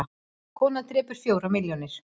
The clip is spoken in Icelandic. Kona drepur fjórar milljónir